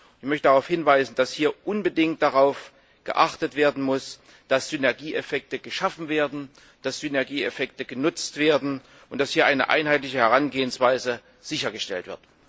Ich möchte darauf hinweisen, dass hier unbedingt darauf geachtet werden muss, dass Synergieeffekte geschaffen werden, dass Synergieeffekte genutzt werden und dass eine einheitliche Herangehensweise sichergestellt wird.